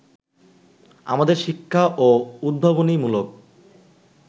আমাদের শিক্ষা ও উদ্ভাবনীমূলক